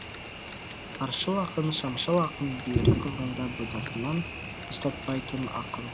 аршыл ақын шамшыл ақын бүйірі қызғанда бұйдасынан ұстатпайтын ақын